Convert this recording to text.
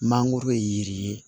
Mangoro ye yiri ye